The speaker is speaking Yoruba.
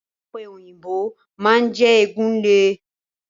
Ọ̀pẹ̀ òyìnbò máa ń jẹ́ egun le.